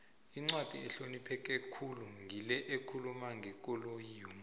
incwadi ehlonipheke khulu ngile ekhuluma ngekolo yomuntu